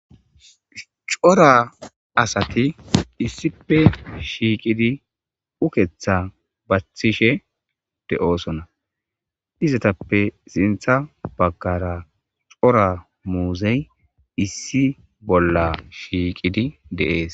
Cora asati issipe shiiqidi uketha bathishe de7oosona izatappe sintha bagkara cora muuzey issi bolla shiiqidi deees.